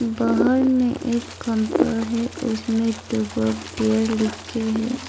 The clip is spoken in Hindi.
बाहर एक खंभा है उसमे टूबर्ग बियर लिख के है।